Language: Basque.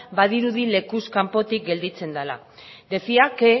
badirudi lekuz kanpotik gelditzen dela decía que